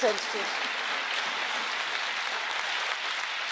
As I said, colleagues, it wasn't quite a point of order.